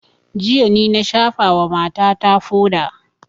Jiya ni na shafa wa mata ta foda